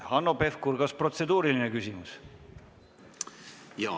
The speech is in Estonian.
Hanno Pevkur, kas protseduuriline küsimus?